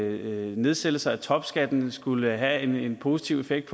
at nedsættelser af topskatten skulle have en positiv effekt